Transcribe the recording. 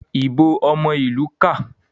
ìbò omo ilu ká.